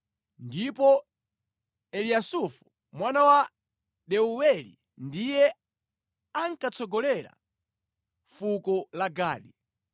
ndipo Eliyasafu mwana wa Deuweli ndiye ankatsogolera fuko la Gadi.